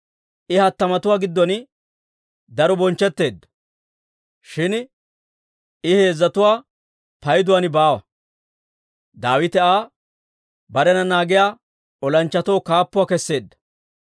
I hattamatuwaa giddon daro bonchchetteedda; shin I heezzatuwaa payduwaan baawa. Daawite Aa barena naagiyaa olanchchatoo kaappuwaa keseedda.